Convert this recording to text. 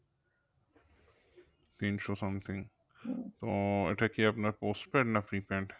তিনশো something তো এটা কি আপনার postpaid না prepaid?